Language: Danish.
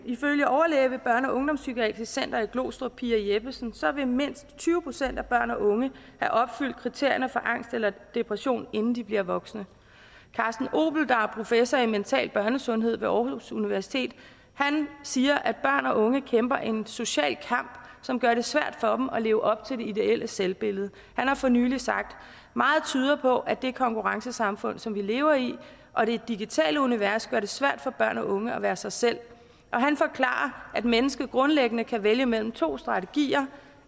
ifølge overlæge ved børne og ungdomspsykiatrisk center i glostrup pia jeppesen vil mindst tyve procent af børn og unge have opfyldt kriterierne for angst eller depression inden de bliver voksne carsten opel der er professor i mental børnesundhed ved aarhus universitet siger at børn og unge kæmper en social kamp som gør det svært for dem at leve op til det ideelle selvbillede han har for nylig sagt meget tyder på at det konkurrencesamfund som vi lever i og det digitale univers gør det svært for børn og unge at være sig selv han forklarer at mennesket grundlæggende kan vælge mellem to strategier